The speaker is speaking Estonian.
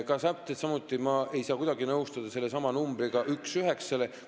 Täpselt samuti ma ei saa kuidagi nõustuda numbritega üks üheksa vastu.